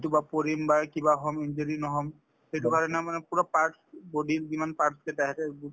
কৰবাত পৰিম বা কিবা হম injury নহম সেইটো কাৰণে মানে পূৰা parts body ৰ যিমান parts আছে